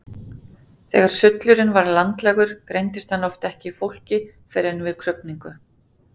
Þegar sullurinn var landlægur greindist hann oft ekki í fólki fyrr en við krufningu.